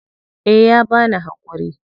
Eh ya bani hakuri.